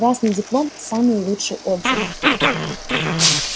красный диплом самые лучшие отзывы